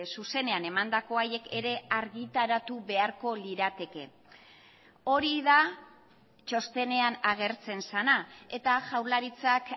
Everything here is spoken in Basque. zuzenean emandako haiek ere argitaratu beharko lirateke hori da txostenean agertzen zena eta jaurlaritzak